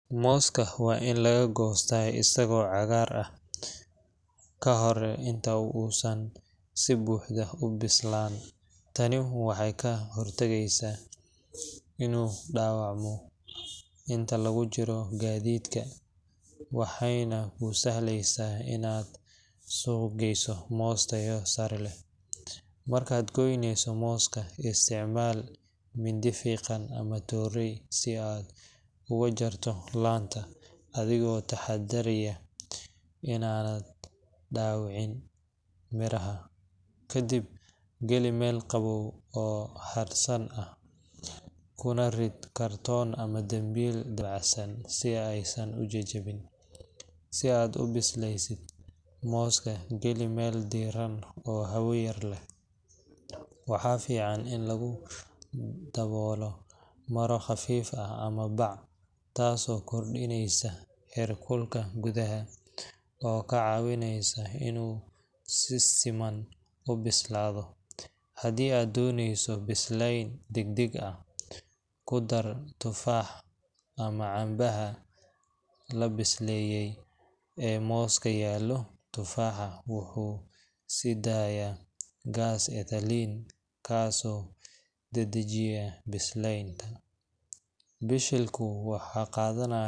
Mooska waa in laga goostaa isagoo cagaarka ah, ka hor inta uusan si buuxda u bislaan. Tani waxay ka hortagtaa inuu dhaawacmo inta lagu jiro gaadiidka, waxayna kuu sahlaysaa inaad suuq geyso moos tayo sare leh. Markaad goynayso mooska, isticmaal mindi fiiqan ama tooreey si aad uga jarto laanta, adigoo taxaddaraya in aanad dhaawicin miraha. Ka dib, geli meel qabow oo hadhsan ah, kuna rid kartoon ama dambiil dabacsan si aysan u jajabin. Si aad u bisleysid, mooska geli meel diirran oo hawo yar leh. Waxaa fiican in lagu daboolo maro khafiif ah ama bac, taasoo kordhinaysa heerkulka gudaha, oo ka caawinaysa inuu si siman u bislaado. Haddii aad doonayso bislayn degdeg ah, ku dar tufaax ama cambaha la bisleeyay meel mooska yaallo – tufaaxa wuxuu sii daayaa gaas ethylene, kaasoo dedejiya bislaynta. Bishilku waxay qaadanaya.